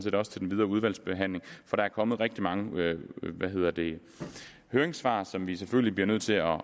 videre udvalgsbehandling for der er kommet rigtig mange høringssvar som vi selvfølgelig bliver nødt til at